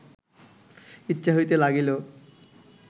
ইচ্ছা হইতে লাগিল